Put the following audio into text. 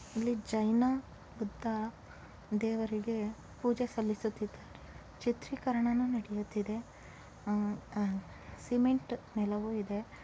ಎಲ್ಲಿ ಜೈನ ಬುದ್ಧ ದೇವರಿಗೆ ಪೂಜೆ ಸಲ್ಲಿಸುತಿದ್ದರೆ ಚಿತ್ರೀಕರಣವು ನಡಿಯುತ್ತಿದೆ. ಅಅ ಸಿಮೆಂಟ್ ನೆಲವು ಇದೆ